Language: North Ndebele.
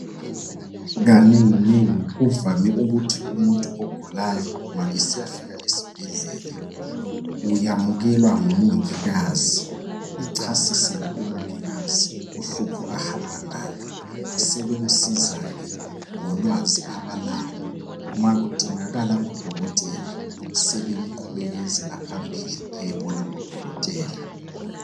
Kanenginengi kuvame ukuthi umuntu ogulayo ma esiyafika esbhedlela uyamukelwa ngumongikazi achasisele umongikazi uhlupho ahamba ngalo, sebemsiza ke ngolwazi abalalo makudingakala udokotela sebemqhubekezela phambili ayebona udokotela.